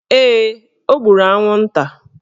Ee, o gburu anwụnta